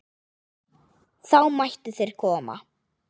Þá mættu þeir koma.